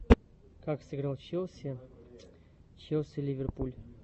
как сыграл челси челси ливерпуль